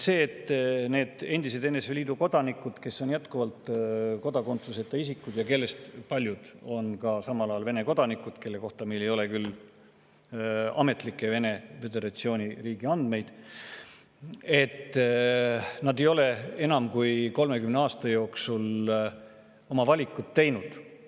Need endised NSV Liidu kodanikud, kes on jätkuvalt kodakondsuseta isikud ja kellest paljud on ka samal ajal Vene kodanikud – nende kohta meil küll ametlikke Vene föderatsiooni andmeid ei ole –, ei ole enam kui 30 aasta jooksul oma valikut teinud.